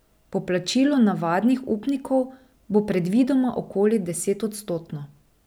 Poplačilo navadnih upnikov bo predvidoma okoli desetodstotno.